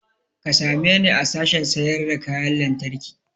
Ka same ni a sashen sayar da kayan lantarki